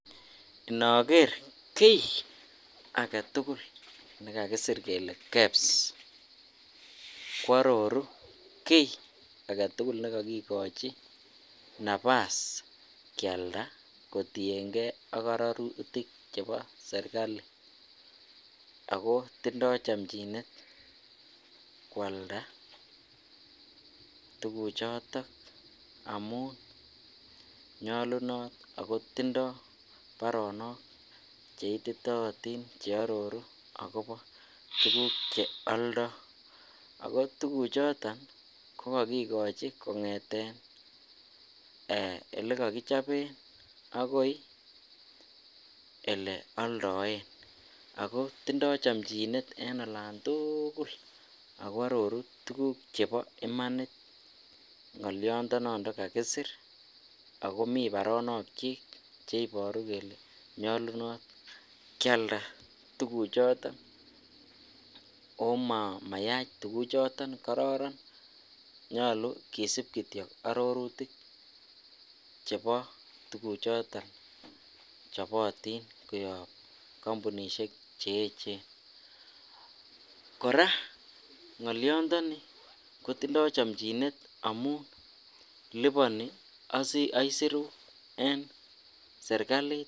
Inoker kii aketukul nekakisir kelee KEBS kwororu kii aketukul nekokikochi nabas kialda kotieng'e ak ororutik chebo serikali ak ko tindo chomchinet kwalda tukuchoton amun nyolunot ak ko tindo baronok cheititootin cheororu akobo tukuk che oldo ak ko tukuchoton ko kokikochi kong'eten elekokichoben akoi eleondoen ak ko tindo chomchinet en olantukul ak ko aroru tukuk chebo imanit ng'oliondononton kakisir ak komii baronokyik chekakisir kelee nyolunot kialda tukuchoton omoyach tukuchoton kororon, nyolu kisip kityok arorutik chebo tukuchoton chebotin koyob kombunishek cheechen, kora ng'oliondoni kotindo chomchinet amun liponi aisirut en serikalit.